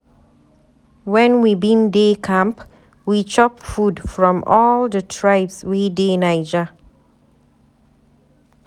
wen we bin dey camp, we chop food from all di tribes wey dey Naija.